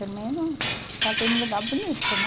Pelo menos casei num lugar bonito, né?